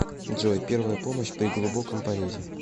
джой первая помощь при глубоком порезе